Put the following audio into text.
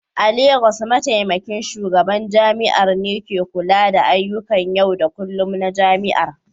A Legas, Mataimakin Shugaban Jami'ar ne ke kula da ayyukan yau da kullun na jami'ar